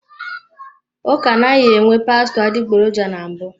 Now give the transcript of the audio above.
Ụka anaghị enwe pastọ adịgboroja na mbụ.